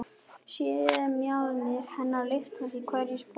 Sé mjaðmir hennar lyftast í hverju spori.